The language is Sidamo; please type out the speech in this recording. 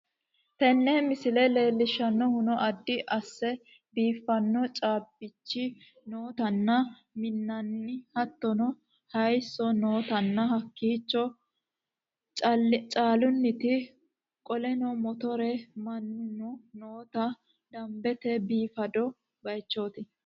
Teene miisile lellishanohunoo addi asse biifano caabichi nootana miinana haatono haayiso nootana haakicho caalinanitti kooleno mootore maanuno noota daanbete biifado bayichotti.